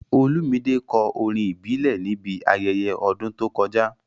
Olumide kọ orin ìbílẹ̀ níbi ayẹyẹ ọdún tó kọjá.